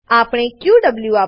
આપણે ક્યુએવ